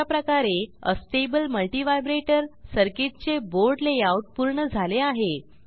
अशाप्रकारे astable multivibrator सर्किटचे board layout पूर्ण झाले आहे